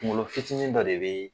kungolo fitinin dɔ de bee